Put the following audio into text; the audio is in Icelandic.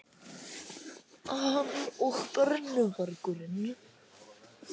Hann og brennuvargurinn.